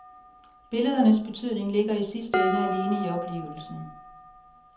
Billedernes betydning ligger i sidste ende alene i oplevelsen.